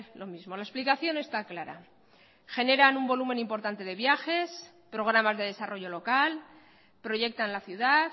lo mismo la explicación está clara generan un volumen importante de viajes programas de desarrollo local proyectan la ciudad